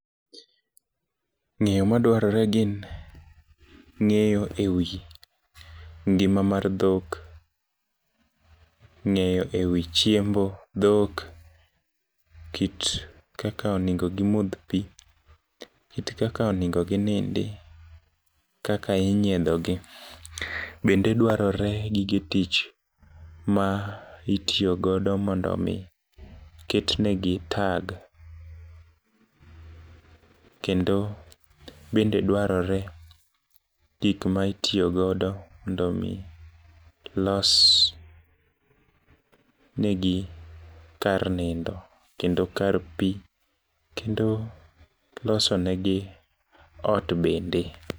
Ng'eyo madwarore gin ng'eyo ewi ngima mar dhok, ng'eyo ewi chiemb dhok , kit kaka onego gimodh pii kit kaka onego ginindi , kaka inyiedhogi .Bende dwarore gige tich ma itiyo godo mondo mi ket negi tag kendo bende dwarore gik ma itiyo godo mondo mi los negi kar nindo kendo kar pii kendo loso ne gi ot bende.